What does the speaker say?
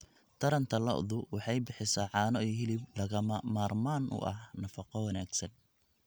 Taranta lo'du waxay bixisaa caano iyo hilib lagama maarmaan u ah nafaqo wanaagsan.